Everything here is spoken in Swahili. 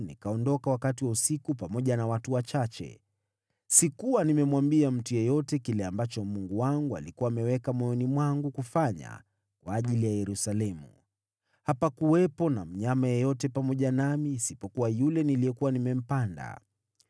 nikaondoka wakati wa usiku pamoja na watu wachache. Sikuwa nimemwambia mtu yeyote kile ambacho Mungu wangu alikuwa ameweka moyoni mwangu kufanya kwa ajili ya Yerusalemu. Hapakuwepo na mnyama yeyote pamoja nami isipokuwa yule niliyekuwa nimempanda.